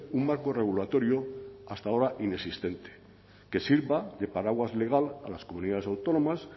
un marco regulatorio hasta ahora inexistente que sirva de paraguas legal a las comunidades autónomas